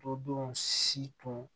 Todenw si tun